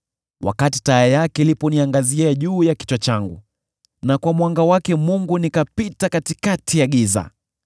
wakati taa yake iliniangazia kichwani changu, na kwa mwanga wake Mungu nikapita katikati ya giza!